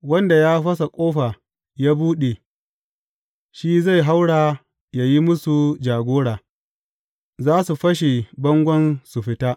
Wanda ya fasa ƙofa ya buɗe, shi zai haura yă yi musu jagora, za su fashe bangon su fita.